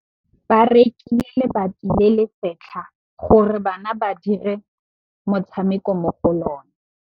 Ba rekile lebati le le setlha gore bana ba dire motshameko mo go lona.